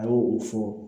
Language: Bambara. A y'o o fɔ